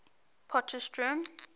potchefstroom